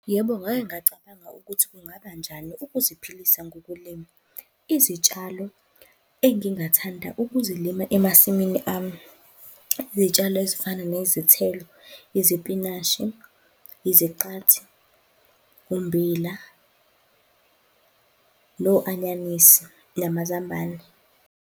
Yebo, ngake ngacabanga ukuthi kungabanjani ukuziphilisa ngokulima. Izitshalo engingathanda ukuzilima emasimini ami, izitshalo ezifana nezithelo, izipinashi, iziqathi, umbila, no-anyanisi namazambane.